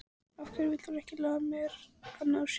Af hverju vill hún ekki lofa mér að ná sér?